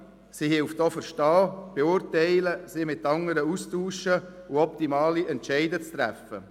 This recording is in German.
Es hilft auch zu verstehen und zu beurteilen und sich mit anderen auszutauschen sowie optimale Entscheide zu treffen.